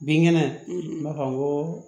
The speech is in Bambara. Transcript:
Bin kɛnɛ b'a kan n ko